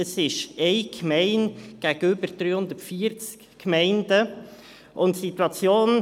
Es ist eine Gemeinde, die 340 Gemeinden gegenübersteht.